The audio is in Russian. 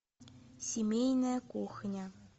семейная кухня